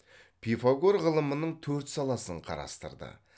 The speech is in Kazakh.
пифагор ғылымының төрт саласын қарастырды